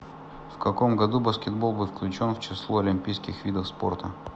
в каком году баскетбол был включен в число олимпийских видов спорта